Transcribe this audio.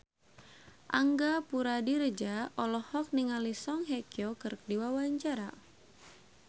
Angga Puradiredja olohok ningali Song Hye Kyo keur diwawancara